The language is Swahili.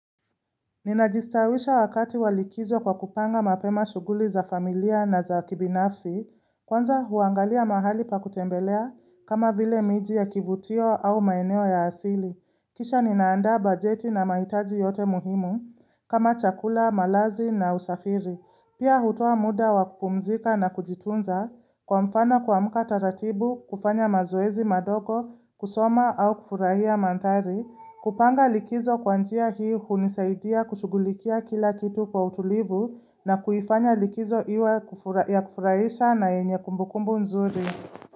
Ninajistawisha wakati walikizo kwa kupanga mapema shughuli za familia na za kibinafsi, kwanza huangalia mahali pa kutembelea kama vile miji ya kivutio au maeneo ya asili. Kisha ninaandaa bajeti na mahitaji yote muhimu kama chakula, malazi na usafiri. Pia hutoa muda wa kupumzika na kujitunza, kwa mfano kuamka taratibu, kufanya mazoezi madogo, kusoma au kufurahia manthari, kupanga likizo kwa njia hii hunisaidia kushughulikia kila kitu kwa utulivu na kuifanya likizo iwe ya kufurahisha na yenye kumbukumbu nzuri.